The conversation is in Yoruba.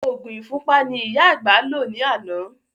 Òògùn ìfúnpá ni ìyá àgbà lò ní àná